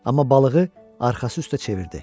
Amma balığı arxası üstə çevirdi.